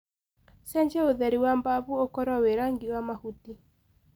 cenjĩa utheri wa bafu ũkorwo wi rangĩ wa mahuti